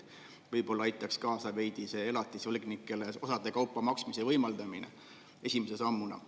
Võib-olla aitaks esimese sammuna veidi kaasa, kui võimaldada elatisvõlgnikel osade kaupa maksta.